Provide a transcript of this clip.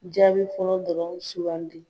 Jaabi fɔlɔ dɔrɔn sugandi